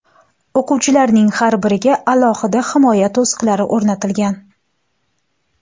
O‘quvchilarning har biriga alohida himoya to‘siqlari o‘rnatilgan.